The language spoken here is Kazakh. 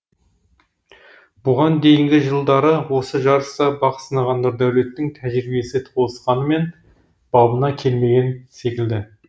бұған дейінгі жылдары осы жарыста бақ сынаған нұрдәулеттің тәжірибесі толысқанымен бабына келмеген секілді